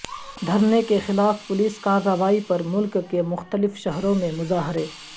دھرنے کے خلاف پولیس کارروائی پر ملک کے مختلف شہروں میں مظاہرے